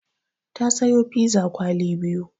Ta sayo piza kwali biyu.